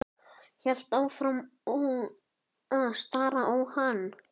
Hélt áfram að stara á hann.